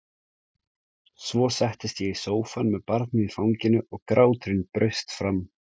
Svo settist ég í sófann með barnið í fanginu og gráturinn braust fram.